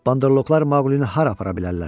Bandoloqlar Maqqlini hara apara bilərlər?